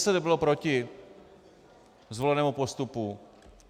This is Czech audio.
ŘSD bylo proti zvolenému postupu.